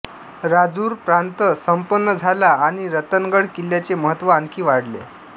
राजूर प्रांत संपन्न झाला आणि रतनगड किल्ल्याचे महत्त्व आणखी वाढले